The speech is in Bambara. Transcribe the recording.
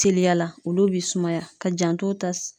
Teliyala olu b'i sumaya ka janto ta s